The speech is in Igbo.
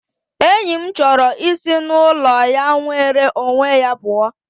Enyi m chọrọ isi n'ụlọ ya nwere onwe ya pụọ